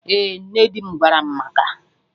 Ee, nne dim gwaram maka